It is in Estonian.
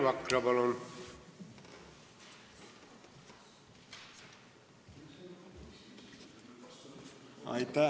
Rainer Vakra, palun!